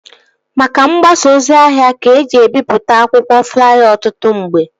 Maka mgbasa ozi ahịa ka eji ebipụta akwụkwọ flaya ọtụtụ mgbe